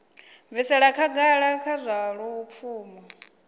bvisela khagala kha zwa lupfumo